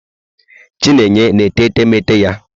Chinenye na-ete etemeete ya?